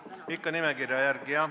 Ikka nimekirja järgi jah.